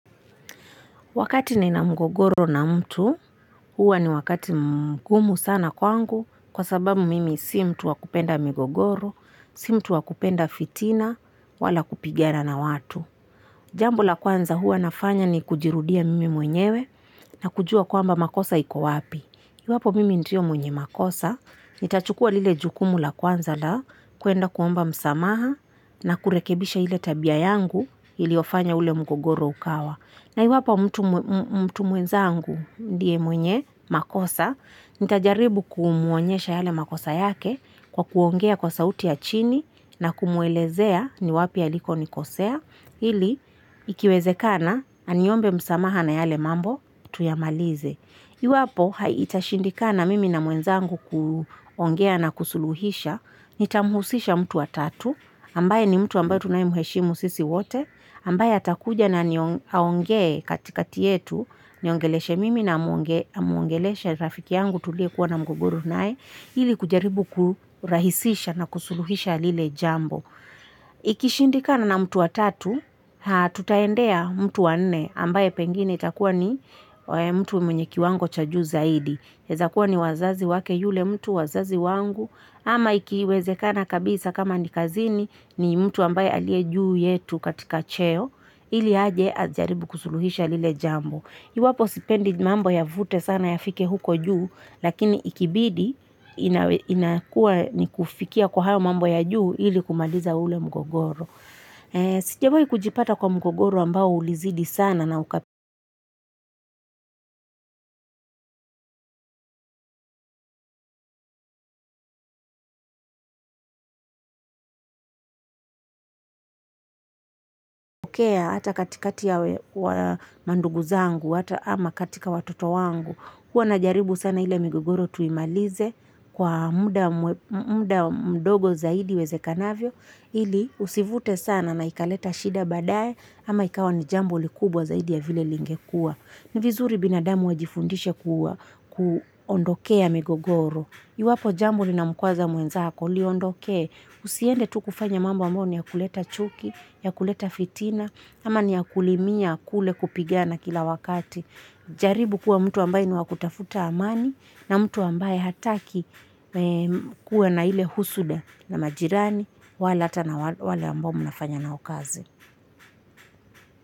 Wakati nina mgogoro na mtu, huwa ni wakati mgumu sana kwangu, kwa sababu mimi si mtu wa kupenda migogoro, si mtu wa kupenda fitina, wala kupigana na watu. Jambo la kwanza huwa nafanya ni kujirudia mimi mwenyewe na kujua kwamba makosa iko wapi. Iwapo mimi ndio mwenye makosa, nitachukua lile jukumu la kwanza la kwenda kuomba msamaha na kurekebisha ile tabia yangu iliofanya ule mgogoro ukawa. Na iwapo mtu mwenzangu ndiye mwenye makosa, nitajaribu kumuonyesha yale makosa yake kwa kuongea kwa sauti ya chini na kumwelezea ni wapi aliko nikosea, ili ikiwezekana aniombe msamaha na yale mambo tuyamalize. Iwapo itashindika na mimi na mwenzangu kuongea na kusuluhisha, nitamuhusisha mtu wa tatu, ambaye ni mtu ambaye tunayemheshimu sisi wote, ambaye atakuja na aongee katikati yetu, aniongeleshe mimi na amwongeleshe rafiki yangu tuliyekuwa na mgogoro naye, ili kujaribu kurahisisha na kusuluhisha lile jambo. Ikishindikana na mtu wa tatu, tutaendea mtu wa nne ambaye pengine itakuwa ni mtu mwenye kiwango cha juu zaidi. Inaezakuwa ni wazazi wake yule mtu wazazi wangu ama ikiwezekana kabisa kama ni kazini ni mtu ambaye aliye juu yetu katika cheo ili aje ajaribu kusuluhisha lile jambo. Iwapo sipendi mambo yavute sana yafike huko juu, lakini ikibidi inakua ni kufikia kwa hayo mambo ya juu ili kumaliza ule mgogoro. Sijawai kujipata kwa mgogoro ambao ulizidi sana na ukatokea hata katikati ya mandugu zangu, hata ama katika watoto wangu. Huwa na jaribu sana ile migogoro tuimalize kwa muda mdogo zaidi iwezekanavyo. Ili usivute sana na ikaleta shida baadae ama ikawa ni jambo kubwa zaidi ya vile lingekua. Ni vizuri binadamu wajifundishe kuondokea migogoro. Iwapo jambo linamkwaza mwenzako liondokee Usiende tu kufanya mambo ambayo ni ya kuleta chuki, ya kuleta fitina, ama ni ya kulimia kule kupigana kila wakati. Jaribu kuwa mtu ambaye ni wa kutafuta amani na mtu ambaye hataki kuwa na ile husuda na majirani wale hata na wale ambao mnafanya nao kazi.